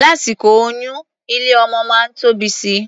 Lásìkò oyún, ilé-ọmọ máa ń tóbi si.